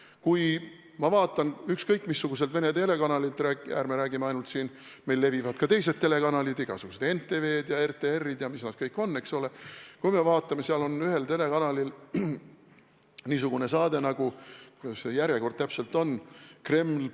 Kui ma vaatan ükskõik missugust Vene telekanalilt – ärme räägime ainult sellest kanalist, meil on esindatud ka teised telekanalid, igasugused NTV-d ja RTR-id ja mis nad kõik on –, siis seal on ühel telekanalil niisugune saade nagu, kuidas see järjekord täpselt ongi, "Kreml.